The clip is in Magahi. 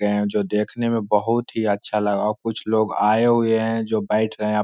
जो देखने में बहुत ही अच्छा लगा कुछ लोग आए हुए हैं जो बैठ रहे --